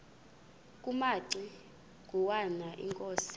kumaci ngwana inkosi